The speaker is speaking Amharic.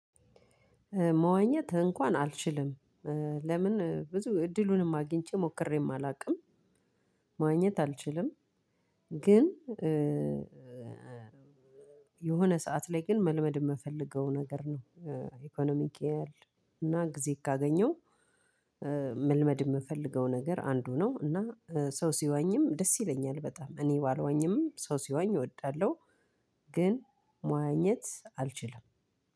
መዋኘት እንኳን አልችልም። ለምን ብዙ እድሉንም አግኝቼ ሞክሬም አላውቅም። መዋኘት አልችልም። ግን የሆነ ሰዓት ላይ ግን መልመድ የምፈልገው ነገር ነው። ኢኮኖሚክ ያያል እና ጊዜ ካገኘው። የምፈልገው ነገር አንዱ ነው። እና ሰው ሲዋኝም ደስ ይለኛል በጣም እኔ ባልዋኝም ሰው ሲዋኝ እወዳለሁ። ግን መዋኘት አልችልም።